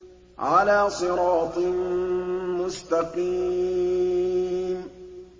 عَلَىٰ صِرَاطٍ مُّسْتَقِيمٍ